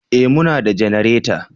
Eh muna da janareta